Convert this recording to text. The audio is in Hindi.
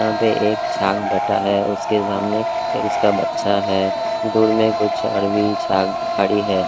यहां पे एक छाग बैठा है उसके सामने उसका बच्चा है दूर में कुछ अरबी छाग खड़ी है ।